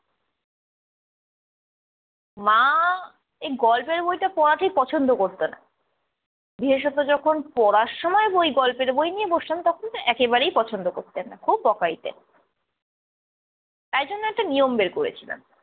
মা, এই গল্পের বইটা পড়া ঠিক পছন্দ করতো না। বিশেষত যখন পড়ার বই গল্পের বই নিয়ে বসতাম তখন তো একদম পছন্দ করতেন না, খুব বকা দিতেন তাই জন্য একটা নিয়ম বের করেছিলেন।